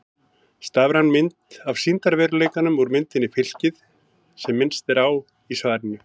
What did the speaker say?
Stafræn mynd af sýndarveruleikanum úr myndinni Fylkið sem minnst er á í svarinu.